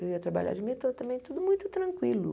Eu ia trabalhar de metrô também, tudo muito tranquilo.